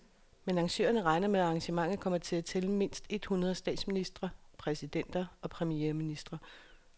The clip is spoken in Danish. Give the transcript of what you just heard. Men arrangørerne regner med, at arrangementet kommer til at tælle mindst et hundrede statsministre, præsidenter og premierministre.